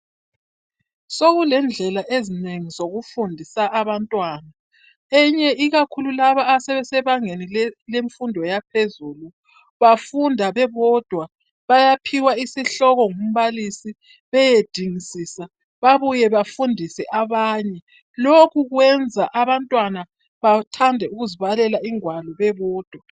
Sokulendlela ezinengi zokufundisa abantwana. Eyinye ikakhulu laba asebesebangeni lemfundo yaphezulu bafunda bebodwa bayaphiwa isihloko ngumbalisi beyedingisisa bebuye bafundise abanye. Lokhu kwenza abantwana bethande ukuzibalela ingwalo bebodwa.